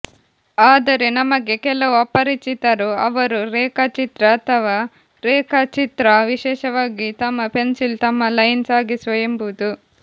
ಆದರೆ ನಮಗೆ ಕೆಲವು ಅಪರಿಚಿತರು ಅವರು ರೇಖಾಚಿತ್ರ ಅಥವಾ ರೇಖಾಚಿತ್ರ ವಿಶೇಷವಾಗಿ ತಮ್ಮ ಪೆನ್ಸಿಲ್ ತಮ್ಮ ಲೈನ್ ಸಾಗಿಸುವ ಎಂಬುದು